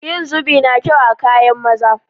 Yin zubi na kyau a kayan maza